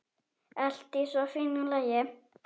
Allt í svo fínu lagi.